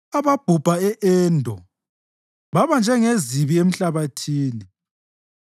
ababhubha e-Endo baba njengezibi emhlabathini.